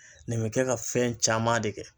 Nin be kɛ ka fɛn caman de kɛ